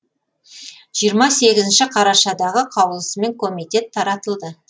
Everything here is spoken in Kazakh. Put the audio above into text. жиырма сегізінші қарашадағы қаулысымен комитет таратылды